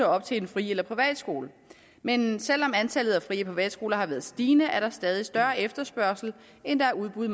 op til en fri eller privatskole men selv om antallet af fri og privatskoler har været stigende er der stadig større efterspørgsel end der er udbud